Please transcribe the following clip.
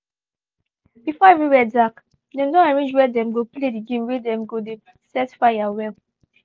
before everywhere dark dem don arrange where dem go play the game wey dem go dey set fire well